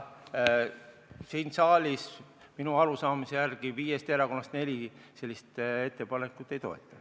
Siin saalis minu arusaamise järgi viiest erakonnast neli sellist ettepanekut ei toeta.